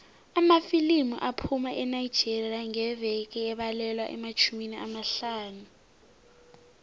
amafilimu aphuma enigeria ngeveke abalelwa kumatjhumi amahlanu